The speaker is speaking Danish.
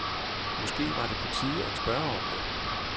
Måske var det på tide at spørge om det.